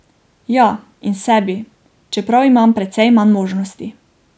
Ja, in sebi, čeprav imam precej manj možnosti.